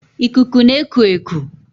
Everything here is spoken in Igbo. Ikuku na-eku eku